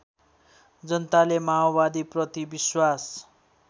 जनताले माओवादीप्रति विश्वास